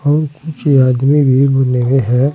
और कुछ आदमी भी बने हुए है।